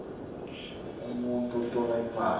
umuntfu utfola imali